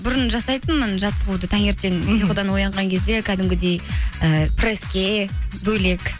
бұрын жасайтынмын жаттығуды таңертең ұйқыдан оянған кезде кәдімгідей ііі пресске бөлек